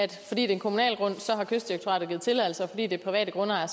det er en kommunal grund har kystdirektoratet givet tilladelse og fordi det er private grundejere har